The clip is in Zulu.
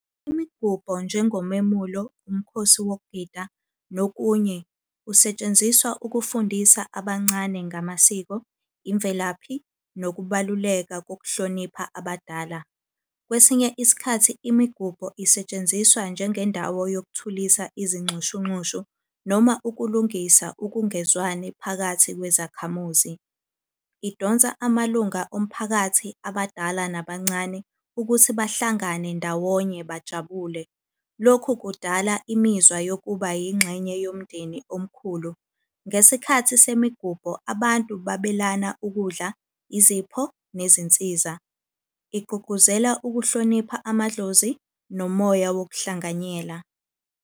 Imigubho njengomemulo, umkhosi wokugida, nokunye usetshenziswa ukufundisa abancane ngamasiko, imvelaphi, nokubaluleka kokuhlonipha abadala. Kwesinye isikhathi imigubho isetshenziswa njengendawo yokuthulisa izinxushunxushu, noma ukulungisa ukungezwani phakathi kwezakhamuzi. Idonsa amalunga omphakathi, abadala nabancane, ukuthi bahlangane ndawonye bajabule. Lokhu kudala imizwa yokuba yingxenye yomndeni omkhulu. Ngesikhathi semigubho abantu babelana ukudla, izipho, nezinsiza. Igqugquzela ukuhlonipha amadlozi nomoya wokuhlanganyela.